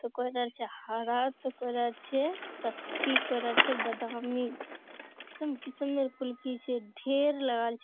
ते कोइरार छे हारा ते कोइरार छे कथथी कोइरार छे बेदामी किसम-किसमेर कुल्फी छे ढेर लागाल छे।